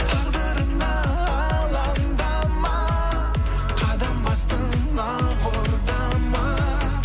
тағдырыңа алаңдама қадам бастың ақ ордама